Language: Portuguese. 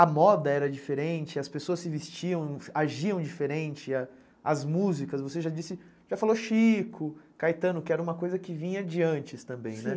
A moda era diferente, as pessoas se vestiam, agiam diferente, as músicas, você já disse, já falou Chico, Caetano, que era uma coisa que vinha de antes também, né?